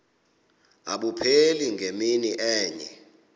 abupheli ngemini enye